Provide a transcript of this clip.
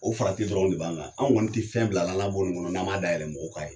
O farati dɔrɔnw de b'an kan , anw kɔni tɛ fɛn bilala an la bɔn ni kɔnɔ n'an m'a da yɛlɛ mɔgɔw ka n'a ye!